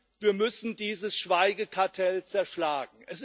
Nein, wir müssen dieses Schweigekartell zerschlagen.